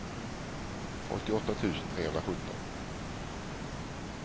åttioåtta tusen trehundrasjutton